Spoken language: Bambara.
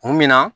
Kun min na